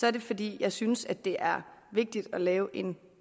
er det fordi jeg synes det er vigtigt at lave en